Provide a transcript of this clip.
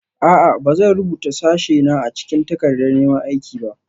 A'a. Ba zan rubuta sashena a cikin takardar neman aiki ba